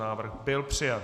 Návrh byl přijat.